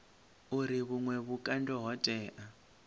uri vhuṅwe vhukando ho tea